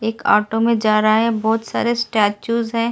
एक ऑटो में जा रहा है बहुत सारे स्टैचूज हैं।